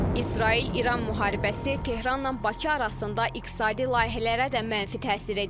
İsrail-İran müharibəsi Tehranla Bakı arasında iqtisadi layihələrə də mənfi təsir edə bilər.